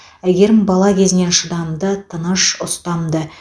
әйгерім бала кезінен шыдамды тыныш ұстамды